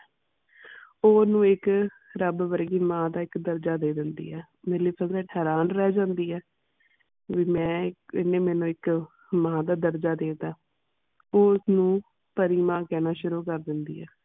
ਉਹ ਓਹਨੂੰ ਇਕ ਰੱਬ ਵਰਗੀ ਮਾਂ ਦਾ ਇਕ ਦਰਜਾ ਦੇ ਦਿੰਦੀ ਹੈ। ਮੇਲੇਫੀਸੈਂਟ ਹੈਰਾਨ ਰਹਿ ਜਾਂਦੀ ਹੈ ਵੀ ਮੈਂ ਇਕ ਇਹਨੇ ਮੈਨੂੰ ਇਕ ਮਾਂ ਦਾ ਦਰਜ ਦੇ ਤਾ। ਉਹ ਉਸ ਨੂੰ ਪਰੀ ਮਾਂ ਕਹਿਣਾ ਸ਼ੁਰੂ ਕਰ ਦਿੰਦੀ ਹੈ।